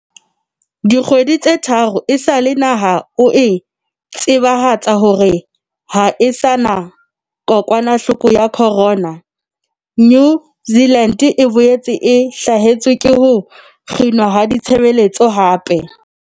Dikgwedi tse tharo esale naha eo e tsebahatsa hore ha e sa na kokwanahloko ya corona, New Zealand e boetse e hlasetswe ke ho kginwa ha ditshebeletso hape.